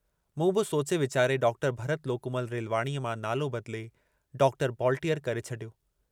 मूं बि सोचे वीचारे डॉक्टर भरत लोकूमल रेलवाणीअ मां नालो बदिले डॉक्टर बॉलटीअर करे छॾियो।